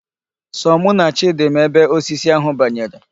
Sọ mụ na Chidi ma ebe osisi ahụ banyere.